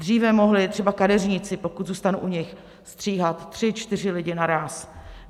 Dříve mohli třeba kadeřníci, pokud zůstanu u nich, stříhat tři, čtyři lidi naráz.